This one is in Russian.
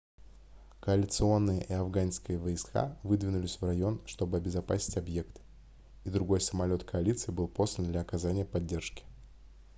коалиционные и афганские войска выдвинулись в район чтобы обезопасить объект и другой самолет коалиции был послан для оказания поддержки